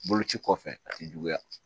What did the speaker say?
Boloci kɔfɛ a tɛ juguya